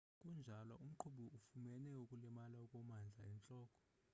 kunjalo umqhubi ufumene ukulimala okumandla entloko